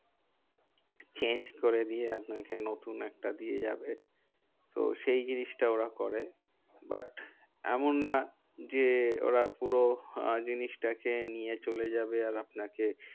Change করে দিয়ে আপনাকে নতুন একটা দিয়ে যাবে। তো সেই জিনিসটা ওরা করে। but এমন না যে ওরা পুরো জিনিসটাকে নিয়ে চলে যাবে। আর আপনাকে